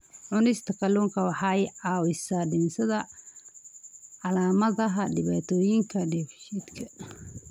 Cunista kalluunka waxa ay caawisaa dhimista calaamadaha dhibaatooyinka dheefshiidka.